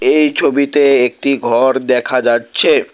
এই ছবিতে একটি ঘর দেখা যাচ্ছে।